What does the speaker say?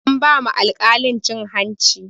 An ba ma alkalin cin hanci